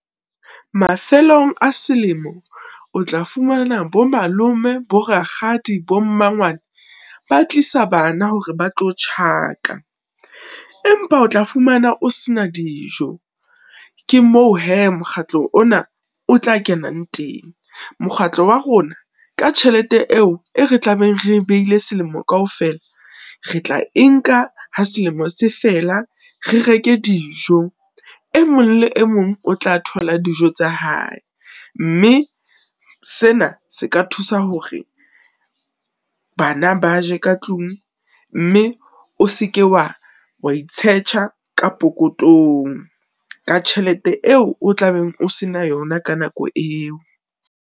Mafelong a selemo, o tla fumana bo malome, bo rakgadi, bo mmangwane, ba tlisa bana hore ba tlo tjhaka. Empa o tla fumana o se na dijo, ke moo hee mokgatlo ona o tla kenang teng. Mokgatlo wa rona, ka tjhelete eo e re tlabeng re e beile selemo kaofela, re tla e nka ha selemo se fela, re reke dijo. E mong le mong o tla thola dijo tsa hae, mme sena se ka thusa hore bana ba je ka tlung, mme o seke wa itshetjha ka pokothong, ka tjhelete eo o tla beng o se na yona ka nako eo.